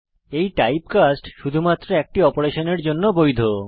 এই টাইপকাস্ট শুধুমাত্র একটি অপারেশনের জন্য বৈধ